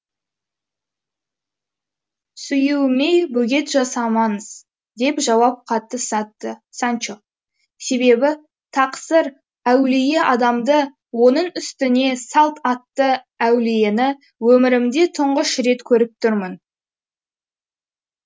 сүюіме бөгет жасамаңыз деп жауап қатты санчо себебі тақсыр әулие адамды оның үстіне салт атты әулиені өмірімде тұңғыш рет көріп тұрмын